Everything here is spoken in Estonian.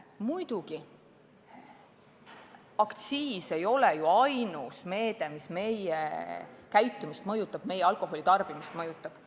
Muidugi pole aktsiis ainus meede, mis inimeste käitumist, sh alkoholitarbimist mõjutab.